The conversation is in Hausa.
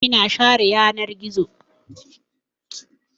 Ina share yanar gizo.